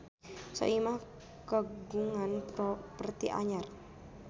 Soimah kagungan properti anyar